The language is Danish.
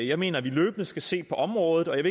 jeg mener vi løbende skal se på området og jeg